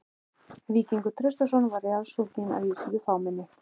Víkingur Traustason var jarðsunginn að viðstöddu fámenni.